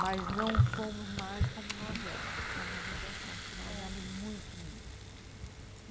Mas não somos mais como nós éramos, que é uma judiação, porque nós éramos muito unidos.